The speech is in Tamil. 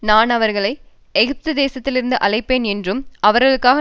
நான் அவர்களை எகிப்து தேசத்திலிருந்து அழைப்பேன் என்றும் அவர்களுக்காக